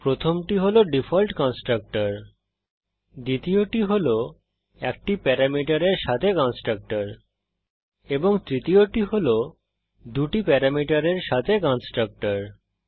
প্রথমটি হল default constructor দ্বিতীয়টি হল একটি প্যারামিটারের সাথে কন্সট্রকটর এবং তৃতীয়টি হল দুটি প্যারামিটারের সাথে কন্সট্রকটর